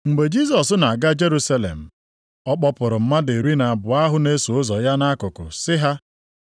Mgbe Jisọs na-aga Jerusalem, ọ kpọpụrụ mmadụ iri na abụọ ahụ na-eso ụzọ ya nʼakụkụ sị ha,